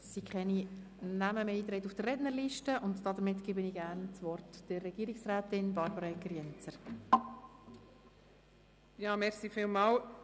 Auf der Rednerliste ist niemand mehr eingetragen, deshalb gebe ich Frau Regierungsrätin Egger das Wort.